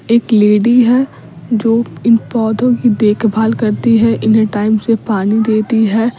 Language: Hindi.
एक लेडी है जो इन पौधों की देखभाल करती है इन्हें टाइम से पानी देती है --